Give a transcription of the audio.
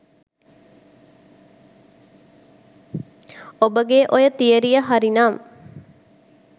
ඔබගේ ඔය තියරිය හරි නම්